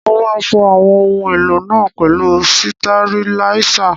Mo máa fọ àwọn ohun èlò náà pẹ̀lú sitẹriláísà